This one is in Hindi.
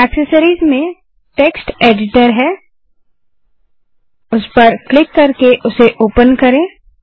एक्सेसरिस में टेक्स्ट एडिटर ओपन करें उस पर क्लिक करें